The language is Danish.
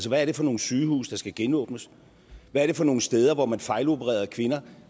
hvad er det for nogle sygehuse der skal genåbnes hvad er det for nogle steder hvor man fejlopererede kvinder